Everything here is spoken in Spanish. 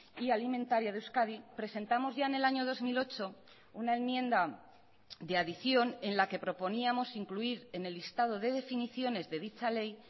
y alimentaria de euskadi presentamos ya en el año dos mil ocho una enmienda de adición en la que proponíamos incluir en el listado de definiciones de dicha ley